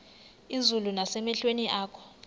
izulu nasemehlweni akho